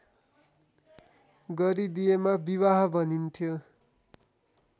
गरिदिएमा विवाह भनिन्थ्यो